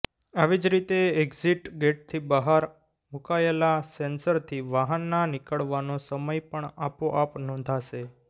આવી જ રીતે એકિઝટ ગેટથી બહાર મુકાયેલાં સેન્સરથી વાહનના નીકળવાનો સમય પણ આપોઆપ નોંધાશે